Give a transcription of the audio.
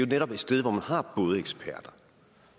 netop et sted hvor man har